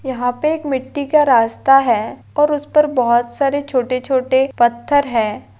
यहा पे एक मिट्ठी का रास्ता है और उस पर बहुत सारे छोटे छोटे पत्थर है।